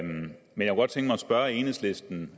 spørge enhedslisten